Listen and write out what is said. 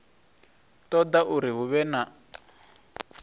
ṱoḓa uri hu vhe na